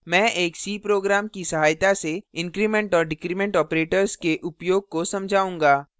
मैं एक c program की सहायता से increment और decrement operators के उपयोग को समझाऊँगा